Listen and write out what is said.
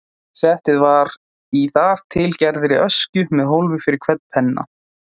Settið var í þar til gerðri öskju með hólfi fyrir hvern penna.